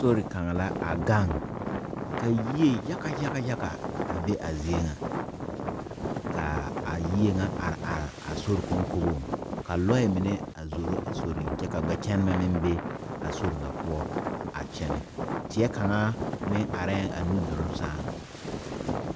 Sori kaŋa la a gaŋ ka yie yagayaga a be a zie ŋa ka a yie ŋa are are a sori kɔnkɔŋeŋ ka loɛ mine zoro a sorinŋ kyɛ ka gbɛkyɛnɛbɛ meŋ be a sori ŋa poɔ a kyɛnɛ teɛ kaŋa meŋ arɛɛ a nuduluŋ sɛŋ.